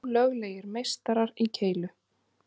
Ólöglegir meistarar í keilu